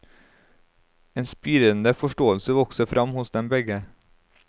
En spirende forståelse vokser frem hos dem begge.